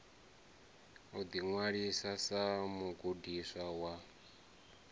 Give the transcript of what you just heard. u ḓiṅwalisa sa mugudiswa wa